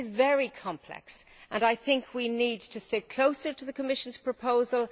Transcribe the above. This is very complex, and I think we need to stick closely to the Commission proposal.